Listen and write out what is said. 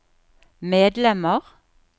medlemmer